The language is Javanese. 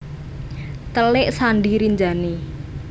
Telik Sandi Rinjani